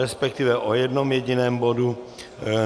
Respektive o jednom jediném bodu.